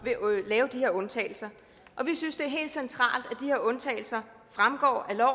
lave de her undtagelser og vi synes det er helt centralt at de her undtagelser fremgår af